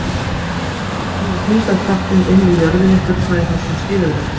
Nú þarf að sýna að þyngdarkrafturinn inni í jörðinni fullnægi þessum skilyrðum.